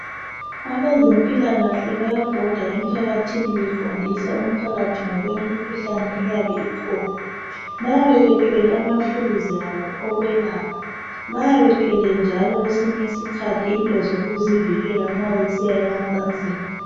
Abezempilakahle bayabhoda emphakathini befundisa umphakathi ngokwemikhuhlane eyabe ikhona. Bayabe bethwele amaphilizabo okwelapha. Bayabe bethwele njalo kwesinye isikhathi into zokuzivikela nxa besiya emacansini.